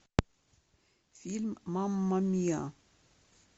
фильм мамма миа